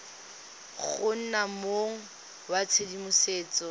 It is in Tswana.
go nna mong wa tshedimosetso